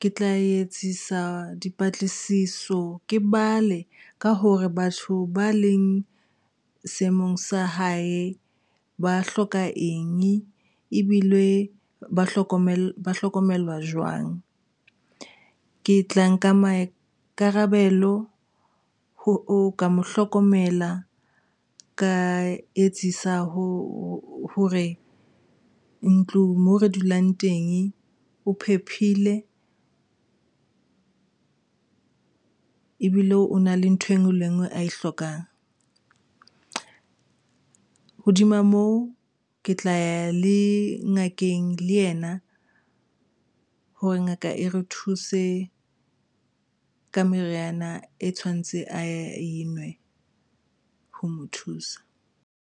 ke tla etsisa dipatlisiso. Ke bale ka hore batho ba leng seemong sa hae ba hloka eng ebile ba hlokomelwa jwang. Ke tla nka maikarabelo ho ka mo hlokomela. Ka etsisa ho hore ntlo moo re dulang teng o phephile ebile o na le ntho engwe le engwe a e hlokang, hodima moo ke tla ya ngakeng le ena hore ngaka e re thuse ka meriana, e tshwantse a enwe ho mo thusa.